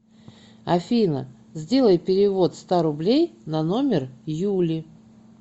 афина сделай перевод ста рублей на номер юли